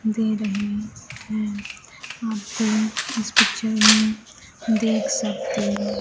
दे रहे हैं आपको इस पिक्चर में देख सकते--